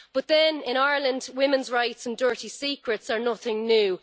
But then, in Ireland, women's rights and dirty secrets are nothing new.